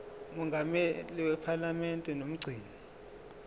mongameli wephalamende nomgcini